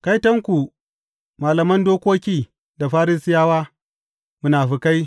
Kaitonku, malaman dokoki da Farisiyawa, munafukai!